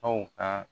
Aw ka